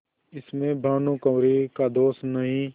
इसमें भानुकुँवरि का दोष नहीं